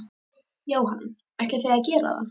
Jóhann: Ætlið þið að gera það?